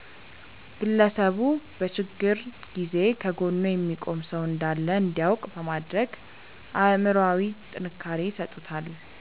ግለሰቡ በችግር ጊዜ ከጎኑ የሚቆም ሰው እንዳለ እንዲያውቅ በማድረግ አእምሮአዊ ጥንካሬ ይሰጡታል።